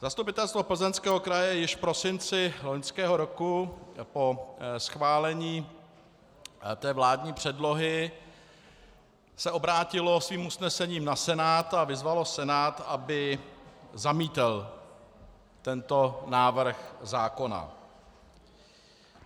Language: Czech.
Zastupitelstvo Plzeňského kraje již v prosinci loňského roku po schválení té vládní předlohy se obrátilo svým usnesením na Senát a vyzvalo Senát, aby zamítl tento návrh zákona.